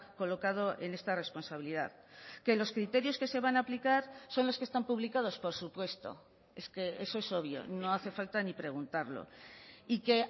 colocado en esta responsabilidad que los criterios que se van a aplicar son los que están publicados por supuesto es que eso es obvio no hace falta ni preguntarlo y que